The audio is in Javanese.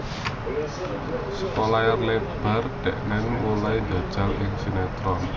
Saka layar lebar dheweke mulai njajal ing sinetron